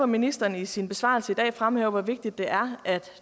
ministeren i sin besvarelse i dag fremhæver hvor vigtigt det er at